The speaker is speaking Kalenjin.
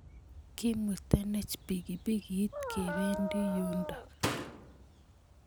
Kimutenech pikipikit kependi yundok.